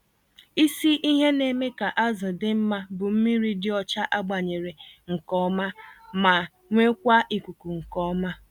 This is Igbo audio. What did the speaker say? Isi ihe na-eme ka azụ dị mma bụ mmírí dị ọcha agbanyere nke ọma, ma nwekwaa ikuku nke ọma.